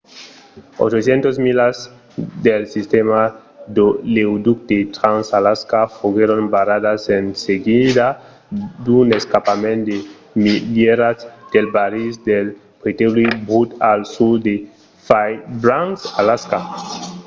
800 milas del sistèma d'oleoducte trans-alaska foguèron barradas en seguida d’un escampament de milierats de barrils de petròli brut al sud de fairbanks alaska